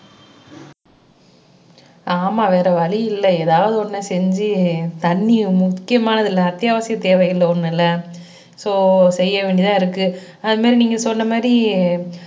ஆமா வேற வழியில்லை ஏதாவது ஒன்னு செஞ்சு தண்ணி முக்கியமானது இல்ல அத்தியாவசிய தேவைகள்ல ஒன்னு இல்ல சோ செய்ய வேண்டியதா இருக்கு அது மாதிரி நீங்க சொன்ன மாதிரி